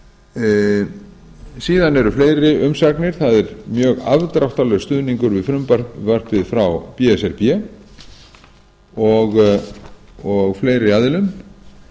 síðan eru fleiri umsagnir það er mjög afdráttarlaus stuðningur við frumvarpið frá b s r b og fleiri aðilum en það